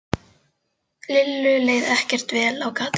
Lillu leið ekkert vel á gatinu.